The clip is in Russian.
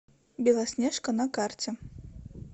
белоснежка на карте